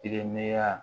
Tɛgɛmaya